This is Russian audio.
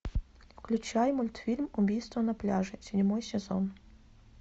включай мультфильм убийство на пляже седьмой сезон